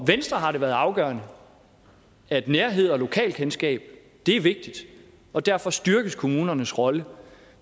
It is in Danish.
venstre har det været afgørende at nærhed og lokalkendskab er vigtigt og derfor styrkes kommunernes rolle